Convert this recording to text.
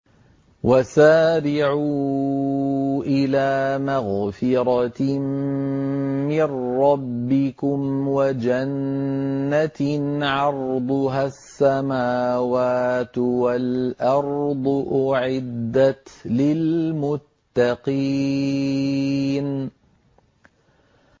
۞ وَسَارِعُوا إِلَىٰ مَغْفِرَةٍ مِّن رَّبِّكُمْ وَجَنَّةٍ عَرْضُهَا السَّمَاوَاتُ وَالْأَرْضُ أُعِدَّتْ لِلْمُتَّقِينَ